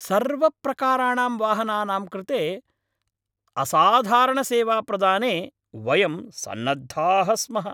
सर्वप्रकाराणां वाहनानां कृते असाधारणसेवाप्रदाने वयं सन्नद्धाः स्मः।